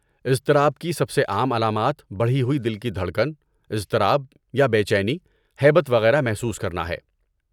اضطراب کی سب سے عام علامات بڑھی ہوئی دل کی دھڑکن، اضطراب یا بے چینی، ہیبت وغیرہ محسوس کرنا ہے۔